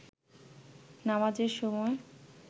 নামাজের সময়